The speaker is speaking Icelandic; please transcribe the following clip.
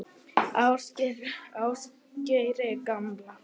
Ásgeiri gamla.